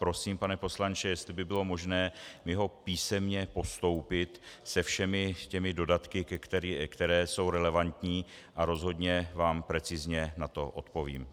Prosím, pane poslanče, jestli by bylo možné mi ho písemně postoupit se všemi těmi dodatky, které jsou relevantní, a rozhodně vám precizně na to odpovím.